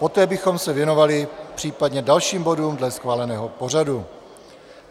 Poté bychom se věnovali případně dalším bodům dle schváleného pořadu.